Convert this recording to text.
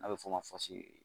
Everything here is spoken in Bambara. A bɛ fɔ o ma